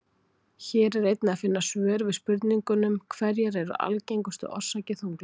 Hér er einnig að finna svör við spurningunum Hverjar eru algengustu orsakir þunglyndis?